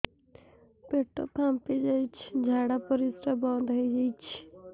ପେଟ ଫାମ୍ପି ଯାଇଛି ଝାଡ଼ା ପରିସ୍ରା ବନ୍ଦ ହେଇଯାଇଛି